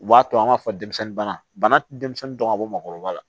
U b'a to an b'a fɔ denmisɛnnin bana denmisɛnnin dɔn ka bɔ maakɔrɔba la